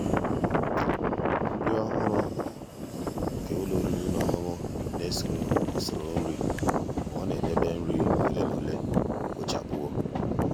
nrí ọ́hụ́rụ́ nke ụ́lọ́ oriri na ọṅụṅụ nà-èso usoro nri mà ọ́ nà-edèbè nri ole na ole kpochapụwo.